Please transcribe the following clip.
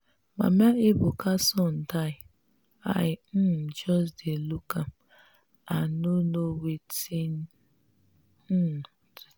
mama ebuka son die. i um just dey look am i no know wetin um to talk